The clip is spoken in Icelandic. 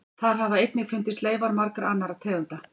Þar hafa einnig fundist leifar margra annarra tegunda.